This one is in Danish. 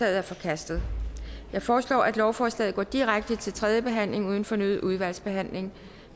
er forkastet jeg foreslår at lovforslaget går direkte til tredje behandling uden fornyet udvalgsbehandling